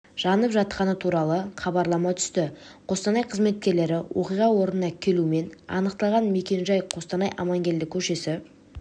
жанып жатқаны туралы хабарлама түсті қостанай қызметкерлері оқиға орнына келумен анықталған мекен-жай қостанай амангелді көшесі